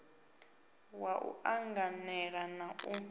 wa u anganala na u